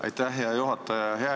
Aitäh, hea juhataja!